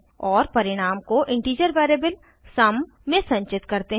और परिणाम को इंटीजर वेरिएबल सुम में संचित करते हैं